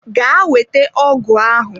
Gaa weta ọgụ ahụ!